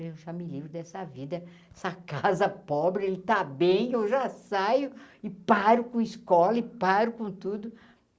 Eu já me livro dessa vida, dessa casa pobre, ele está bem, eu já saio e paro com escola e paro com tudo.